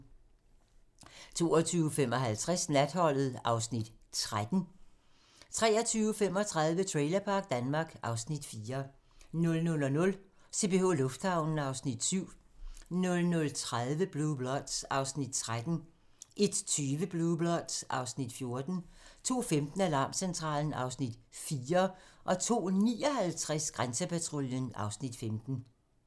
22:55: Natholdet (Afs. 13) 23:35: Trailerpark Danmark (Afs. 4) 00:00: CPH Lufthavnen (Afs. 7) 00:30: Blue Bloods (Afs. 13) 01:20: Blue Bloods (Afs. 14) 02:15: Alarmcentralen (Afs. 4) 02:59: Grænsepatruljen (Afs. 15)